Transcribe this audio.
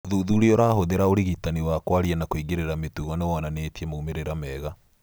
ũthuthuria ũrahũthĩra ũrigitani wa kwaria na kũingĩrĩra mĩtugo nĩwonanĩtie maumĩrĩra mega